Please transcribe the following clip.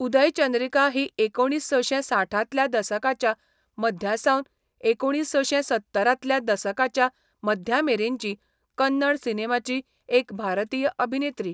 उदयचंद्रिका ही एकुणीसशें साठांतल्या दसकाच्या मध्यासावन एकुणीसशें सत्तरांतल्या दसकाच्या मध्यामेरेनची कन्नड सिनेमाची एक भारतीय अभिनेत्री.